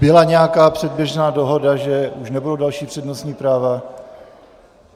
Byla nějaká předběžná dohoda, že už nebudou další přednostní práva?